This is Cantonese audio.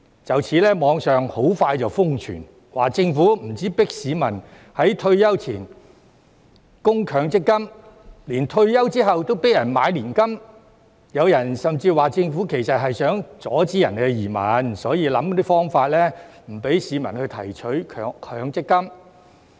就此，網上很快瘋傳，指政府不只迫市民在退休前供強積金，連退休後都迫人買年金，有人甚至說政府其實是想阻止人移民，所以想方法不讓市民提取強積金。